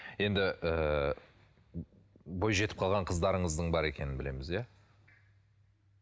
енді ыыы бой жетіп қалған қыздарыңыздың бар екенін білеміз иә